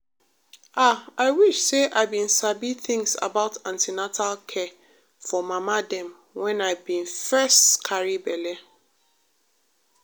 ah i wish say i been sabi things about an ten atal care for mama dem wen i been first carry belle.